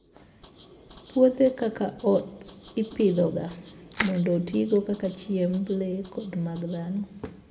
Puothe kaka oats ipidhoga mondo otigo kaka chiemb le kod mag dhano.